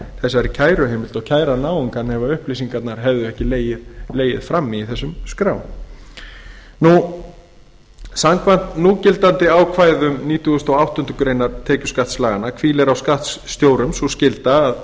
þessari kæruheimild og kæra náungann ef upplýsingarnar hefðu ekki legið frammi í þessum skrám samkvæmt núgildandi ákvæðum nítugasta og áttundu greinar tekjuskattslaganna hvílir á skattstjórum sú skylda að